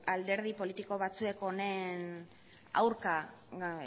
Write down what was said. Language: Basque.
alderdi politiko batzuek honen aurka